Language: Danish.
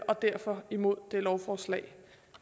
og derfor imod det lovforslag